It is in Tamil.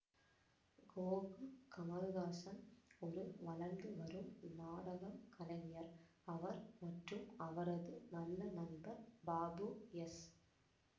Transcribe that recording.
கோபு கமல்ஹாசன் ஒரு வளர்ந்து வரும் நாடகம் கலைஞர் அவர் மற்றும் அவரது நல்ல நண்பர் பாபு எஸ்